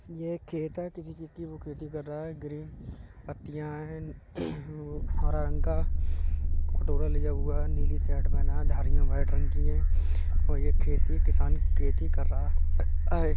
ये एक खेत है। किसी चीज की वो खेती कर रहा है। ग्रीन पत्तियां है और हरा रंग का कटोरा लिया हुआ है। नीली शर्ट पहना है। धारिया व्हाइट रंग की है और ये खेती किसान खेती कर रहा है।